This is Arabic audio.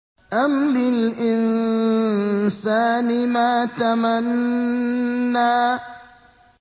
أَمْ لِلْإِنسَانِ مَا تَمَنَّىٰ